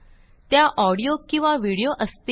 त्या ऑडियो किंवा videoअसतील